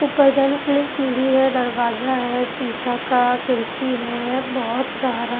ऊपर जाने के लिए सीढ़ी है दरवाजा है शीशा का खिड़की है बहुत सारा--